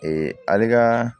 ale ka